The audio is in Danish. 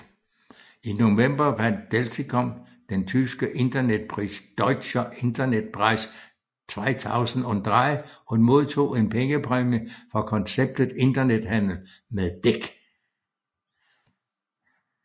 I november vandt Delticom den tyske internetpris Deutscher Internetpreis 2003 og modtog en pengepræmie for konceptet internethandel med dæk